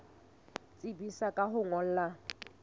tsebisa ka ho o ngolla